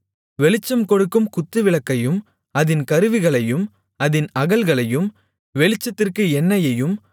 வெளிச்சம்கொடுக்கும் குத்துவிளக்கையும் அதின் கருவிகளையும் அதின் அகல்களையும் வெளிச்சத்திற்கு எண்ணெயையும்